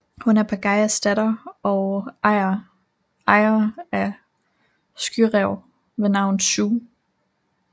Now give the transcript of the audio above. Hun er Pagayas datter og ejer af en skyræv ved navn Sue